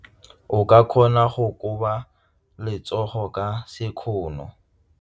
O ka kgona go koba letsogo ka sekgono.